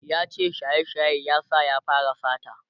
yace shaye shaye ya sa ya fara sata